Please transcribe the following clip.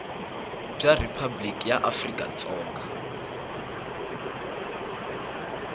bya riphabliki ra afrika dzonga